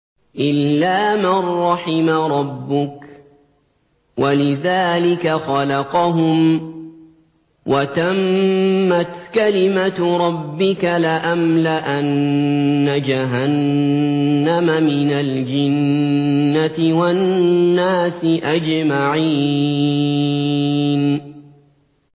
إِلَّا مَن رَّحِمَ رَبُّكَ ۚ وَلِذَٰلِكَ خَلَقَهُمْ ۗ وَتَمَّتْ كَلِمَةُ رَبِّكَ لَأَمْلَأَنَّ جَهَنَّمَ مِنَ الْجِنَّةِ وَالنَّاسِ أَجْمَعِينَ